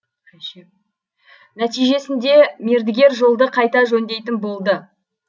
нәтижесінде мердігер жолды қайта жөндейтін болды